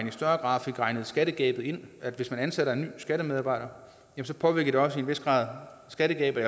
i større grad fik regnet skattegabet ind altså det at hvis man ansætter en skattemedarbejder så påvirker det også i en vis grad skattegabet